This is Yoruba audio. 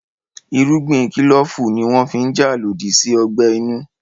Irúgbìn kílòfù ní wọ́n fi n jà lòdì sí ọgbẹ́ inú